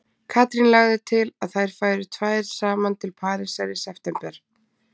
Katrín lagði til að þær færu tvær saman til Parísar í september.